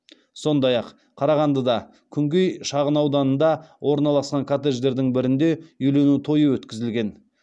сондай ақ қарағандыда күнгей шағынауданында орналасқан коттедждердің бірінде үйлену тойы өткізілген